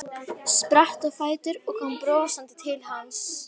Spratt á fætur og kom brosandi til hans.